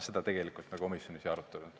Seda me tegelikult komisjonis ei arutanud.